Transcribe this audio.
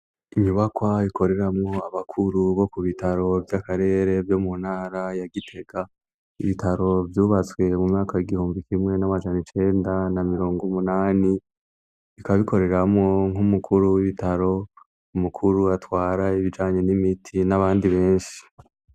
Inyubakwa ikoreramwo abakuru bo kubitaro vy'akarere vyo muntara ya gitega; ibitaro vyubatswe m'umyaka w'igihumbi kimwe n'amajan'icenda na mirong'umunani. Bikaba bikoreramwo nk'umukuru w'ibitaro, umukuru atwara ibijanye n'imiti n'abandi benshi.